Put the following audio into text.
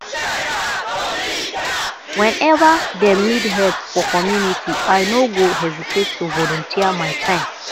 whenever dem need help for community i no go hesitate to volunteer my time